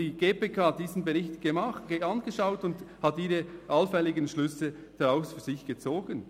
Die GPK hat diesen Bericht angeschaut und hat daraus ihre allfälligen Schlüsse gezogen.